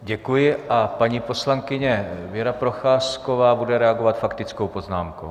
Děkuji a paní poslankyně Věra Procházková bude reagovat faktickou poznámkou.